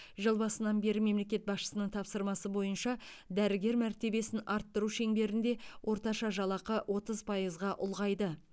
жыл басынан бері мемлекет басшысының тапсырмасы бойынша дәрігер мәртебесін арттыру шеңберінде орташа жалақы отыз пайызға ұлғайды